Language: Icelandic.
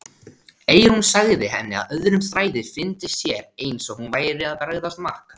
Eyrún sagði henni að öðrum þræði fyndist sér eins og hún væri að bregðast Mark.